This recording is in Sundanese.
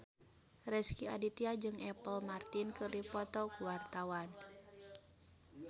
Rezky Aditya jeung Apple Martin keur dipoto ku wartawan